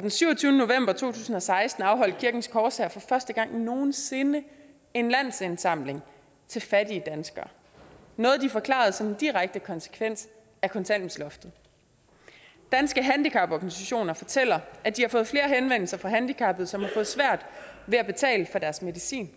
den syvogtyvende november to tusind og seksten afholdt kirkens korshær for første gang nogen sinde en landsindsamling til fattige danskere noget de forklarede som en direkte konsekvens af kontanthjælpsloftet danske handicaporganisationer fortæller at de har fået flere henvendelser fra handicappede som har svært ved at betale for deres medicin